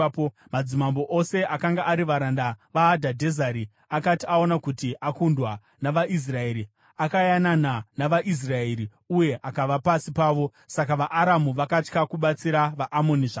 Madzimambo ose akanga ari varanda vaHadhadhezeri akati aona kuti akundwa navaIsraeri, akayanana navaIsraeri uye akava pasi pavo. Saka vaAramu vakatya kubatsira vaAmoni zvakare.